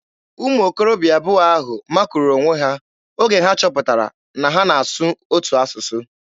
Ụmụ okorobịa abụọ ahụ makuru onwe ha oge ha chọpụtara na ha na-asụ otu asụsụ.